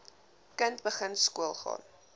kind begin skoolgaan